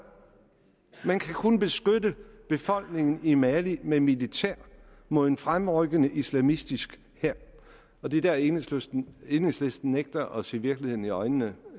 man kan kun beskytte befolkningen i mali med militær mod en fremrykkende islamistisk hær det er der enhedslisten enhedslisten nægter at se virkeligheden i øjnene